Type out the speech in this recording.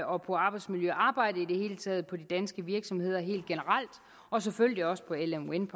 og på arbejdsmiljøarbejdet i det hele taget på de danske virksomheder helt generelt og selvfølgelig også på lm wind